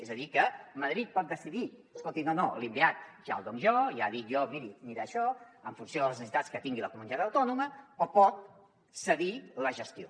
és a dir que madrid pot decidir escolti no no l’inveat ja el dono jo ja dic jo miri hi anirà això en funció de les necessitats que tingui la comunitat autònoma o pot cedir la gestió